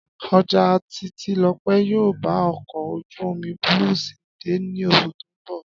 Ọjà Títílọpẹ́ yóò bá ọkọ̀ ojú-omi Blue Seas dé ní oṣù tó ń bọ̀